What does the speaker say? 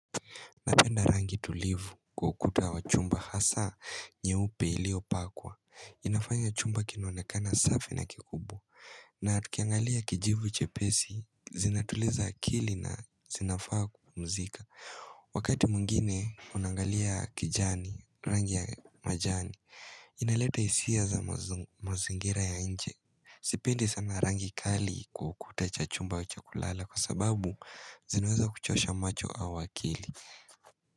Napenda rangi tulivu kwa ukuta wa chumba hasa nyeupe ilio pakwa inafanya chumba kinuonekana safi na kikubwa Naa tukiangalia kijivu chepesi zinatuliza akili na zinafaa kupumzika Wakati mwingine unangalia kijani rangi ya majani Inaleta hisia za mazingira ya nje Sipendi sana rangi kali kwa ukuta cha chumba wa chakulala Kwa sababu zinaweza kuchosha macho au akili.